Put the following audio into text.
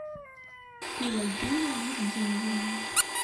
пелагею евгеньевну